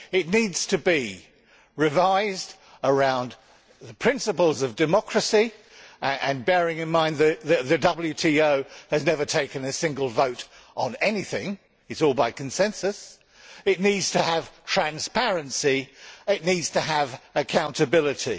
It needs to be revised around the principles of democracy and bearing in mind that the WTO has never taken a single vote on anything, as it is all done by consensus it needs to have transparency and accountability.